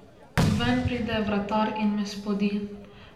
Ven pride vratar in me spodi.